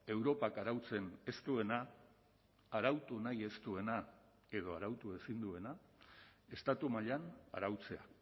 europak arautzen ez duena arautu nahi ez duena edo arautu ezin duena estatu mailan arautzea